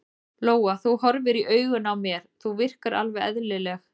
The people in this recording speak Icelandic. Lóa: Þú horfir í augun á mér, þú virkar alveg eðlileg?